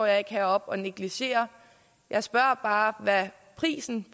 jeg ikke heroppe og negligerer jeg spørger bare hvad prisen